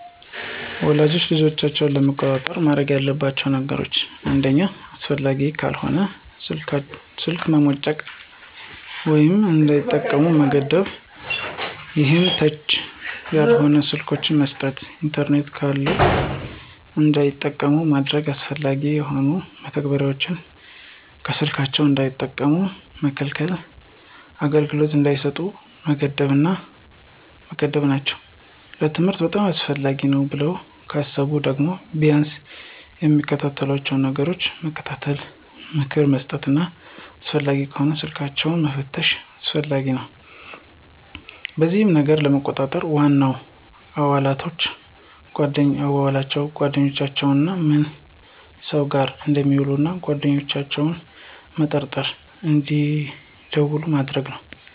ወላጆች ልጆቻቸውን ለመቆጣጠር ማድረግ ያለባቸው ነገሮች አንደኛ አስፈላጊ ካልሆነ ስልክ መሞጨቅ ወይም እንዳይጠቀሙ መገደብ ይሄም ተች ያልሆኑ ስልኮችን መስጠት። ኢንተርኔት ካለም እንዳይጠቀሙ ማገድና አላስፈላጊ የሆኑ መተግበሪያዎችን ከስልካቸው እንዳይጠቀሙ መከልከልና አገልግሎት እንዳይሰጡ መገደብ ናቸው። ለትምህርት በጣም አስፈላጊ ነው ብለው ካሰቡ ደግሞ ቢያንስ የሚመለከቷቸውን ነገሮች መከታተል፣ ምክር መስጠትና አስፈላጊም ከሆነ ስልኮችንን መፈተሽም አስፈላጊ ነው። በዚህም ነገሮችን ለመቆጣጠር ዋናው አዋዋላቸውን፣ ጓደኛቸውንና ምን ሰው ጋር እንደሚውሉ እና ጓደኛቸውም መርጠው እንድውሉ ማድረግ ነው።